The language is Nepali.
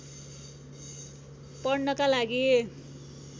पढ्नका लागि